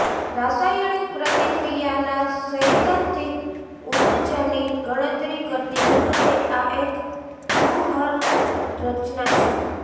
રાસાયણિક પ્રતિક્રિયાના સૈદ્ધાંતિક ઉપજની ગણતરી કરતી વખતે આ એક વ્યૂહરચના છે